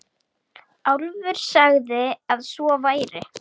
Álfur sagði að svo væri.